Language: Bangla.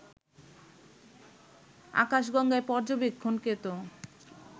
আকাশগঙ্গায় পর্যবেক্ষণকৃত